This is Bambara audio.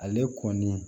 Ale kɔni